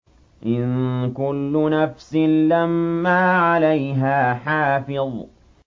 إِن كُلُّ نَفْسٍ لَّمَّا عَلَيْهَا حَافِظٌ